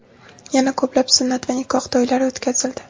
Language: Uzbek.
Yana ko‘plab, sunnat va nikoh to‘ylari o‘tkazildi.